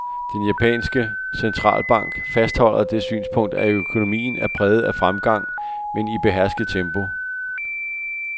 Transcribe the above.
Den japanske centralbank fastholder det synspunkt, at økonomien er præget af fremgang, men i behersket tempo.